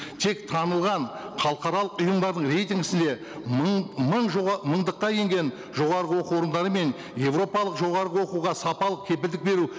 тек танылған халықаралық ұйымдардың рейтингісінде мың мыңдыққа енген жоғарғы оқу орындары мен еуропалық жоғарғы оқуға сапалық кепілдік беру